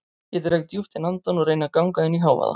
Ég dreg djúpt inn andann og reyni að ganga inn í hávaða